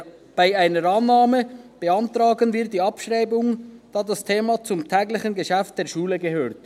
Bei einer Annahme beantragen wir die Abschreibung, weil das Thema zum täglichen Geschäft der Schule gehört.